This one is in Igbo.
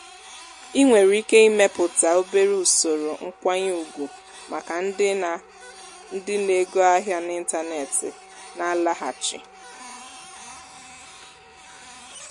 ị nwèrè iké imépùta obere ùsòrò nkwányé ùgwù màkà ndị na ndị na ego ahịa n'ịntanetị na-àlaghàchi.